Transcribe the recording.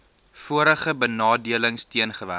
vorige benadeling teengewerk